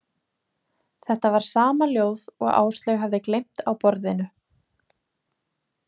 Þetta var sama ljóð og Áslaug hafði gleymt á borðinu.